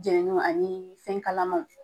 Jɛnɛni a ɲini fɛn kalaman.